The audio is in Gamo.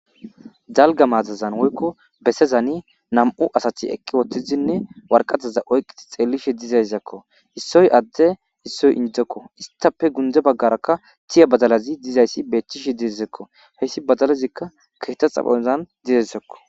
Dalgga matazan woyko bessazanni nam'u asatti eqqi uttiddinne woraqataza oyqqi dizayssakko. Issoy adde issoy injekko. Isttappe gundde bagarakka tiiya badalatti dizayssi betishe dizayssakko. Hayssi badalazikka keththa xaphphozan dizayssakko.